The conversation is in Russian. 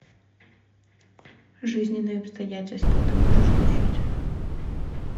жизненные обстоятельства ты можешь включить